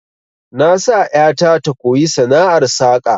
Na sa ƴata ta koyi sana'ar saka